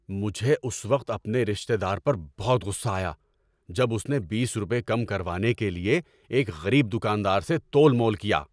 مجھے اس وقت اپنے رشتہ دار پر بہت غصہ آیا جب اس نے بیس روپے کم کروانے کے لیے ایک غریب دکاندار سے تول مول کیا۔